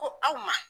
Ko aw ma